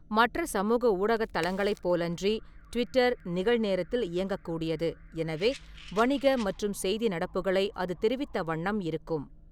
மற்ற சமூக ஊடகத் தளங்களைப் போலன்றி ட்விட்டர் நிகழ்நேரத்தில் இயங்கக்கூடியது, எனவே வணிக மற்றும் செய்தி நடப்புகளை அது தெரிவித்த வண்ணம் இருக்கும்.